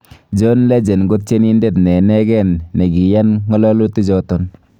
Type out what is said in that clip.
John Legend kotienindet ne negeen negiiyan ngololutichoton.